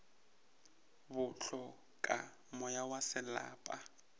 bo hloka moya wa selapa